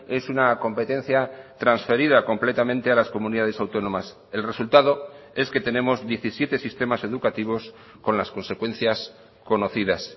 es una competencia transferida completamente a las comunidades autónomas el resultado es que tenemos diecisiete sistemas educativos con las consecuencias conocidas